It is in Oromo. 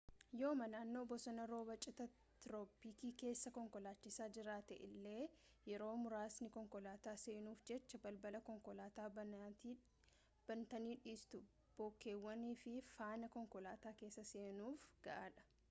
yooma nannoo bosona roobaa cita tirooppikii keessa konkolaachisaa jiraatte illee yeroo muraasni konkolaataa seenuuf jecha balbala konkolaataa banaatti dhiistu bookeewwan si faana konkolaataa keessa seenuuf gahaadha